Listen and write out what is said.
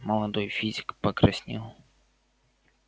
молодой физик покраснел